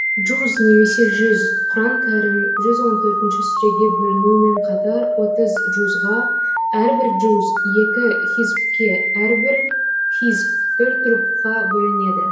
джуз немесе жүз құран кәрім жүз он төртінші сүреге бөлінуімен қатар отыз джузға әрбір джуз екі хизбке әрбір хизб төрт рубғқа бөлінеді